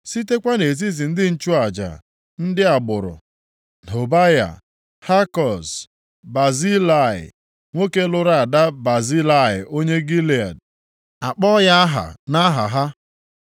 Sitekwa nʼetiti ndị nchụaja: Ndị agbụrụ: Hobaya, Hakoz na Bazilai (nwoke lụrụ ada Bazilai onye Gilead a kpọọ ya aha nʼaha ha).